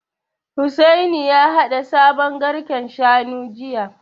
Hussaini ya haɗa sabon garken Shanu jiya